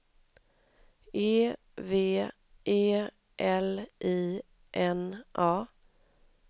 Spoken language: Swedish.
E V E L I N A